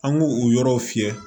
An k'o o yɔrɔw fiyɛ